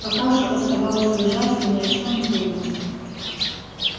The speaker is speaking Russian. пока же оставалось лежать и ни о чём не думать